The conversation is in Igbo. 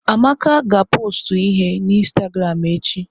Amaka ga pọstụ ihe na ịnstagramụ echi.